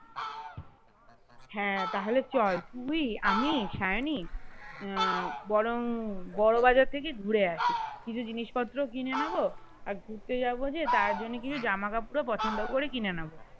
হ্যাঁ তা হলে চল তুই আমি সায়নী আহ বরং বড়বাজার থেকে ঘুরে আসি কিছু জিনিস পত্র কিনে নেব আর ঘুরতে যাবো যে তার জন্য কিছু জামা কাপড় পছন্দ করে কিনে নিবো